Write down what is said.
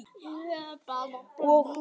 Málið útrætt.